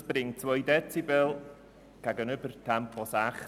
Das bringt 2 Dezibel gegenüber Tempo 60 km/h.